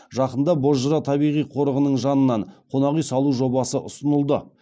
жақында бозжыра табиғи қорығының жанынан қонақ үй салу жобасы ұсынылды